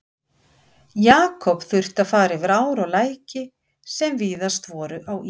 Jakob þurfti að fara yfir ár og læki, sem víðast voru á ísi.